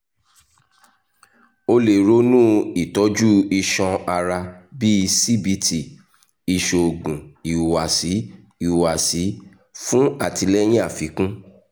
o le ronu itọju iṣan ara bii cbt iṣoogun ihuwasi ihuwasi fun atilẹyin afikun